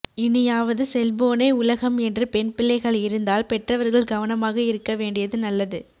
இனியாவது செல்போனே உலகம் என்று பெண் பிள்ளைகள் இருந்தால் பெற்றவர்கள் கவனமாக இருக்க வேண்டியது நல்லது